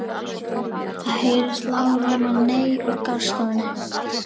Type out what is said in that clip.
Það heyrist lágróma nei úr garðstofunni.